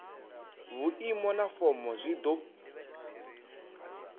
vhuimo na fomo zwi do